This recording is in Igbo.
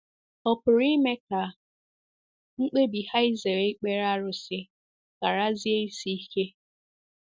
Ọ̀ pụrụ ime ka mkpebi ha izere ikpere arụsị gharazie isi ike?